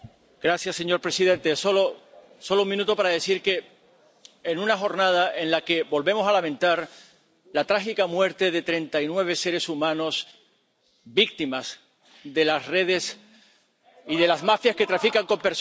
Señor presidente, solo un minuto para decir que es una jornada en la que volvemos a lamentar la trágica muerte de treinta y nueve seres humanos, víctimas de las redes y de las mafias que trafican con personas.